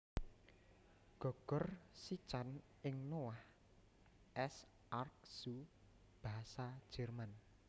Gogor sican ing Noah s Ark Zoo basa Jerman